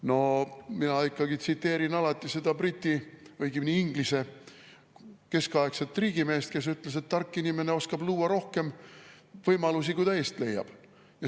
No mina alati tsiteerin Briti või õigemini Inglise keskaegset riigimeest, kes ütles, et tark inimene oskab luua rohkem võimalusi, kui ta eest leiab.